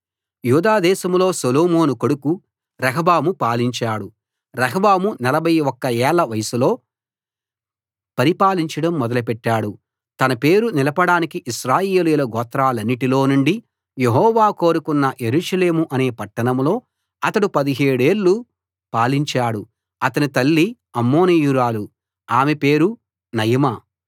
యూదాదేశంలో సొలొమోను కొడుకు రెహబాము పాలించాడు రెహబాము 41 ఏళ్ల వయస్సులో పరిపాలించడం మొదలెట్టాడు తన పేరు నిలపడానికి ఇశ్రాయేలీయుల గోత్రాలన్నిటిలో నుండి యెహోవా కోరుకున్న యెరూషలేము అనే పట్టణంలో అతడు 17 ఏళ్ళు పాలించాడు అతని తల్లి అమ్మోనీయురాలు ఆమె పేరు నయమా